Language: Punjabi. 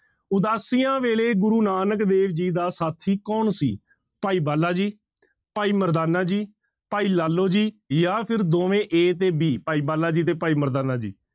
ਉਦਾਸੀਆਂ ਵੇਲੇ ਗੁਰੂ ਨਾਨਕ ਦੇਵ ਜੀ ਦਾ ਸਾਥੀ ਕੌਣ ਸੀ ਭਾਈ ਬਾਲਾ ਜੀ, ਭਾਈ ਮਰਦਾਨਾ ਜੀ, ਭਾਈ ਲਾਲੋ ਜੀ, ਜਾਂ ਫਿਰ ਦੋਵੇਂ a ਤੇ b ਭਾਈ ਬਾਲਾ ਜੀ ਤੇ ਭਾਈ ਮਰਦਾਨਾ ਜੀ।